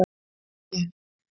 Það tókst ekki.